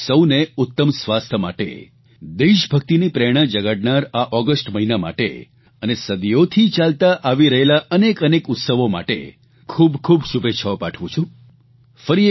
હું આપ સૌને ઉત્તમ સ્વાસ્થ્ય માટે દેશભક્તિની પ્રેરણા જગાડનારા આ ઓગસ્ટ મહિના માટે અને સદીઓથી ચાલતા આવી રહેલા અનેક અનેક ઉત્સવો માટે ખૂબ ખૂબ શુભેચ્છાઓ પાઠવું છું